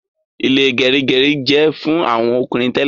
Ile gerigeri jẹ fún àwọn ọkùnrin tẹlẹ